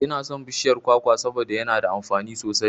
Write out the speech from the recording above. Inason bishiyar kwakwa saboda yana da amfani sosai